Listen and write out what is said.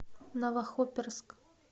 новохоперск